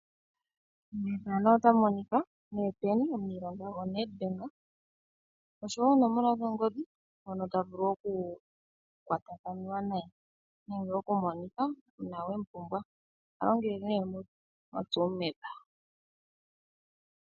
Efano otali ulike mee Pennie, omuniilonga go Nedbank osho oonomola dhongodhi hono tavulu oku kwatakaniwa naye nenge okumonika una wemu pumbwa. Oha longele nee moTsumeb.